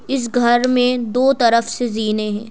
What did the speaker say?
इस घर में दो तरफ से जीने हैं।